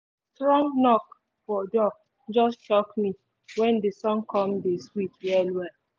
strong knok for door just shock me when the song come dey sweet well well